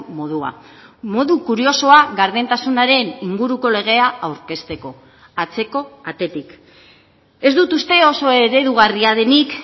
modua modu kuriosoa gardentasunaren inguruko legea aurkezteko atzeko atetik ez dut uste oso eredugarria denik